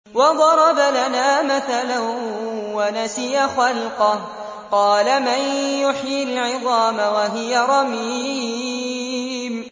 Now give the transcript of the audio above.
وَضَرَبَ لَنَا مَثَلًا وَنَسِيَ خَلْقَهُ ۖ قَالَ مَن يُحْيِي الْعِظَامَ وَهِيَ رَمِيمٌ